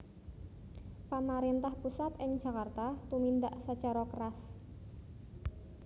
Pamaréntah pusat ing Djakarta tumindhak sacara keras